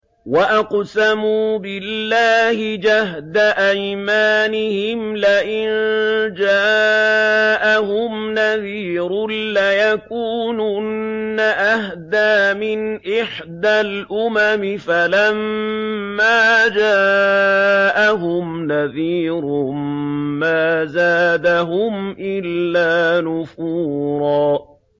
وَأَقْسَمُوا بِاللَّهِ جَهْدَ أَيْمَانِهِمْ لَئِن جَاءَهُمْ نَذِيرٌ لَّيَكُونُنَّ أَهْدَىٰ مِنْ إِحْدَى الْأُمَمِ ۖ فَلَمَّا جَاءَهُمْ نَذِيرٌ مَّا زَادَهُمْ إِلَّا نُفُورًا